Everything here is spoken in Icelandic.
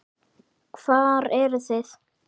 Hvar eruð þið?